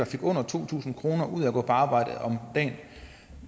fik under to tusind kroner ud af at gå på arbejde at